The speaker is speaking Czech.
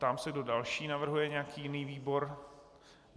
Ptám se, kdo další navrhuje nějaký jiný výbor.